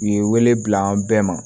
U ye wele bila an bɛɛ ma